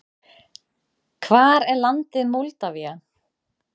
Hvar er landið Moldavía?